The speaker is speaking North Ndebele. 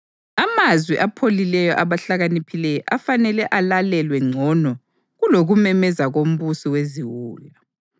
Amazwi apholileyo abahlakaniphileyo afanele alalelwe ngcono kulokumemeza kombusi weziwula.